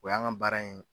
O y'an ka baara in